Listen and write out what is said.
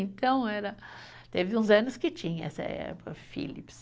Então era, teve uns anos que tinha essa época Philips.